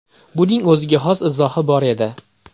Buning o‘ziga xos izohi bor edi.